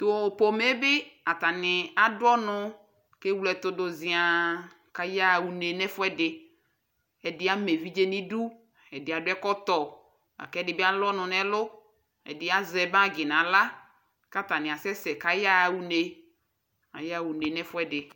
tʋ pɔmɛ bi atani adʋ ɔnʋ kɛwlɛ ɛtʋ dʋ ziaa kʋayaa ʋnɛ nʋ ɛƒʋɛdi, ɛdi ama ɛvidzɛ nʋ idʋ ,ɛdi adʋ ɛkɔtɔ lakʋ ɛdibi alʋ ɔnʋ nʋ ɛlʋ, ɛdi asɛ bagi nʋ ala kʋ atani asɛsɛ kʋ ayaa ʋnɛ, ayaa ʋnɛ nʋ ɛƒʋɛdi